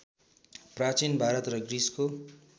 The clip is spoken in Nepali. प्रचीन भारत र ग्रिसको